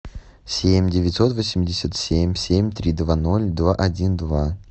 семь девятьсот восемьдесят семь семь три два ноль два один два